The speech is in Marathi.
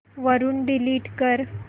वरून डिलीट कर